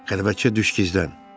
Qəribəçi, düş gizlən.